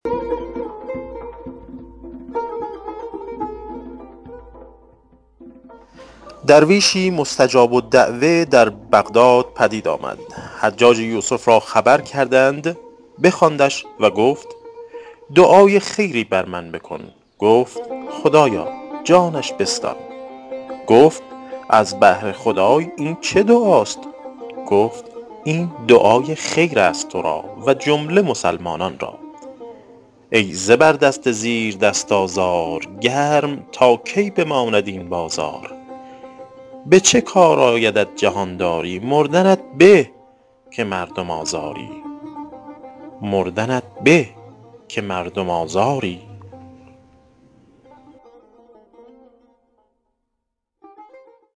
درویشی مستجاب الدعوة در بغداد پدید آمد حجاج یوسف را خبر کردند بخواندش و گفت دعای خیری بر من بکن گفت خدایا جانش بستان گفت از بهر خدای این چه دعاست گفت این دعای خیر است تو را و جمله مسلمانان را ای زبردست زیردست آزار گرم تا کی بماند این بازار به چه کار آیدت جهانداری مردنت به که مردم آزاری